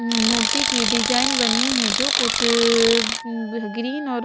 अं मूर्ति की डिजाइन बनी है जो कुछ अ ग्रीन और--